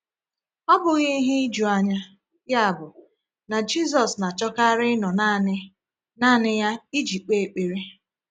Ọ bụghị ihe ijuanya, yabụ, na Jisus na-achọkarị ịnọ naanị naanị ya iji kpee ekpere!